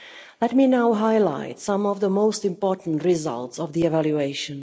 Let me now highlight some of the most important results of the evaluation.